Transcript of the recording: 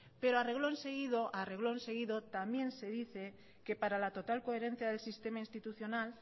pero a reglón seguido a reglón seguido también se dice que para la total coherencia del sistema institucional